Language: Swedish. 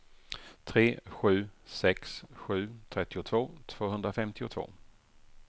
tre sju sex sju trettiotvå tvåhundrafemtiotvå